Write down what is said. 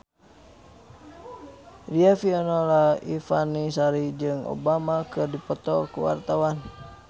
Riafinola Ifani Sari jeung Obama keur dipoto ku wartawan